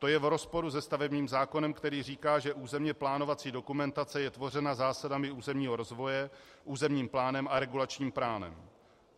To je v rozporu se stavebním zákonem, který říká, že územně plánovací dokumentace je tvořena zásadami územního rozvoje, územním plánem a regulačním plánem.